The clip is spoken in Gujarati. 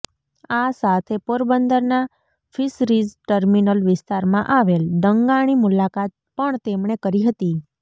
આ સાથે પોરબંદરના ફિશરીઝ ટર્મિનલ વિસ્તારમાં આવેલ દંગાણી મુલાકાત પણ તેમણે કરી હતી